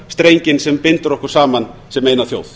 strenginn sem bindur okkur saman sem eina þjóð